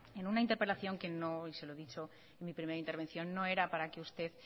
en una interpelación y se lo he dicho en mi primera intervención que no era para que usted